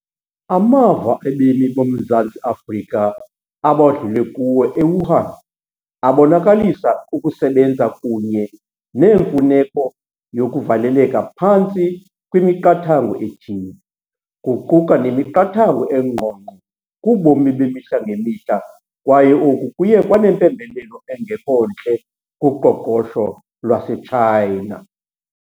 Amava abemi boMzantsi Afrika abadlule kuwo e-Wuhan abonakalisa ukusebenza kunye neemfuneko yokuvaleleka phantsi kwemiqathango ethile. Kuquka nemiqathango engqongqo kubomi bemihla ngemihla kwaye oku kuye kwanempembelelo engekho ntle kuqoqosho lwase-China.